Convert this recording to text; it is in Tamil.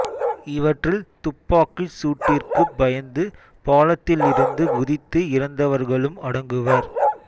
இவற்றில் துப்பாக்கிச் சூட்டிற்குப் பயந்து பாலத்திலிருந்து குதித்து இறந்தவர்களும் அடங்குவர்